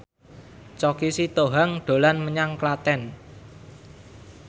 Choky Sitohang dolan menyang Klaten